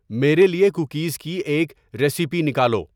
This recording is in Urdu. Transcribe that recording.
میرے لیے کوکیز کی ایک ریسیپی نکالو